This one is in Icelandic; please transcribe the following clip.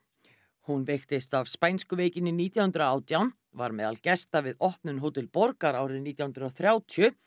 hún veiktist af spænsku veikinni nítján hundruð og átján var meðal gesta við opnun Hótel borgar árið nítján hundruð og þrjátíu